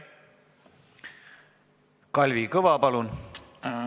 Kalvi Kõva, palun!